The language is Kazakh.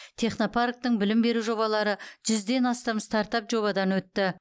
технопарктің білім беру жобалары жүзден астам стартап жобадан өтті